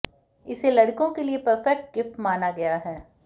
इसे लड़कों के लिए परफेक्ट गिफ्ट माना गया है